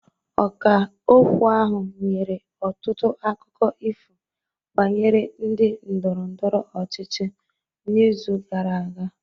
Ọkà okwu ahụ nyere ọtụtụ akụkọ ifo banyere ndị ndọrọ ndọrọ ọchịchị n'izu gara aga